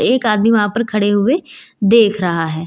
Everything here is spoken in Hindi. एक आदमी वहां पर खड़े हुए देख रहा है।